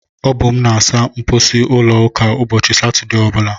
Ọ bụ m na-asa mposi ụlọ ụka ụbọchị Satọdee ọbụla.